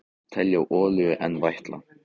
Telja olíu enn vætla